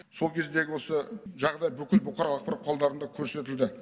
сол кездегі осы жағдай бүкіл бұқаралық ақпарат құралдарында көрсетілді